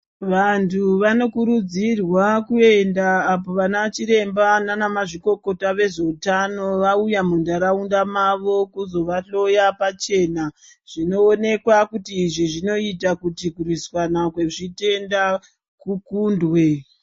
Vantu vanokurudzirwa kuenda apo vana chiremba nana ma zvikokota ve zveutano vauya mu ndaraunda mavo kuzo vahloya pachena zvinoonekwa kuti izvi zvinoita kuti kurwisana kwe zvitenda ku kundwe.